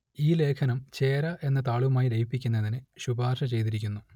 ഈ ലേഖനം ചേര എന്ന താളുമായി ലയിപ്പിക്കുന്നതിന് ശുപാർശ ചെയ്തിരിക്കുന്നു